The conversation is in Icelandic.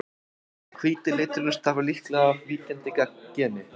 Hvíti liturinn stafar líklega af víkjandi geni.